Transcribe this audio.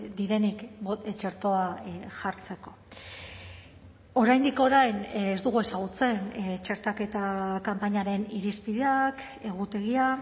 direnik txertoa jartzeko oraindik orain ez dugu ezagutzen txertaketa kanpainaren irizpideak egutegia